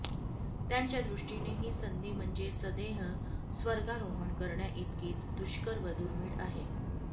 त्यांच्या दृष्टीने ही संधी म्हणजे सदेह स्वर्गारोहण करण्याइतकीच दुष्कर व दुर्मिळ आहे